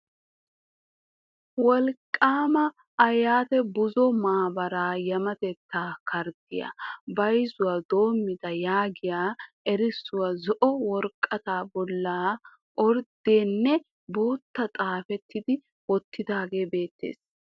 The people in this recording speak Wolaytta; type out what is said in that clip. "Wolqqama aayyat buzo maabara yametetta karddiyaa bayzuwaa doomida" yaagiya erissuwaa zo''o woraqata bolli orddiya nne bootta xaafi wottidooge beettees .